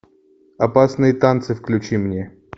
опасные танцы включи мне